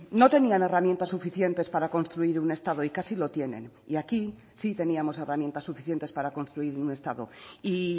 no tenían herramientas suficientes para construir un estado y casi lo tienen y aquí sí teníamos herramientas suficientes para construir un estado y